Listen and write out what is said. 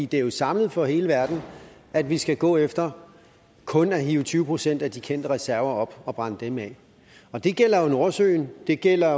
det er jo samlet for hele verden at vi skal gå efter kun at hive tyve procent af de kendte reserver op og brænde dem af og det gælder nordsøen det gælder